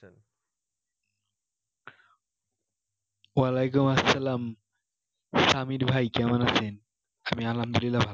ওয়ালাইকুমুস-সালাম সামির ভাই কেমন আছেন? আমি আলহামদুলিল্লাহ ভালো